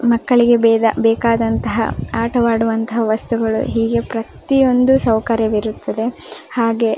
ಮಕ್ಕಳಿಗೆ ಬೇಗ ಬೇಕಾದಂಥ ಆಟ ಆಡುವ ವಸ್ತುಗಳು ಹೀಗೆ ಪ್ರತಿಯೊಂದು ಸೌಕರ್ಯವಿರುತ್ತದೆ ಹಾಗೆ --